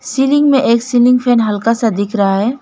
Ceiling में एक ceiling fan हल्का सा दिख रहा है।